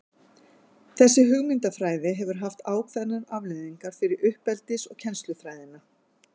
þessi hugmyndafræði hefur haft ákveðnar afleiðingar fyrir uppeldis og kennslufræðina